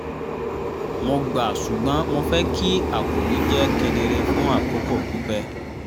mo gbà ṣùgbọ́n mo fẹ́ kí àkòrí jẹ́ kedere fún àkókò pípẹ́